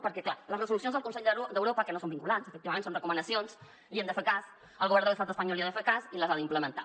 perquè clar a les resolucions del consell d’europa que no són vinculants efectivament són recomanacions els hi hem de fer cas el govern de l’estat espanyol els hi ha de fer cas i les ha d’implementar